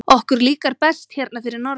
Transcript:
Okkur líkar best hérna fyrir norðan.